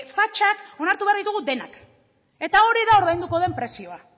fatxak onartu behar ditugu denak eta hori da ordainduko den prezioa